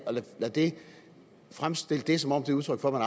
at fremstille det som om det er udtryk for at